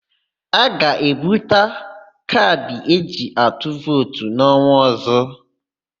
A ga-ebuputa kaadị eji atụ vootu n'ọnwa ọ̀zó.